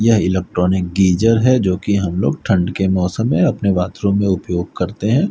यह electronic geyser है जोकि हम लोग ठंड के मौसम में अपने बाथरूम में उपयोग करते हैं।